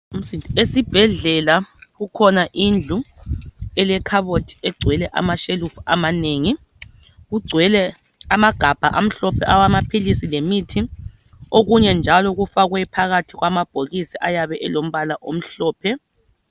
Esibhedlela kukhona indlu elekhabothi egcwele amashelufu amanengi kugcwele amagabha amhlophe awamaphilisi lemithi okunye njalo kufakwe phakathi kwamabhokisi ayabe elombala omhlophe